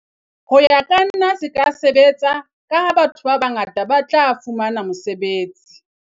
Ho ya ka nna se ka sebetsa ka ha batho ba bangata ba tla fumana mosebetsi.